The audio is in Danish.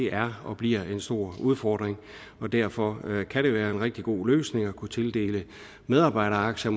er og bliver en stor udfordring derfor kan det være en rigtig god løsning at kunne tildele medarbejderaktier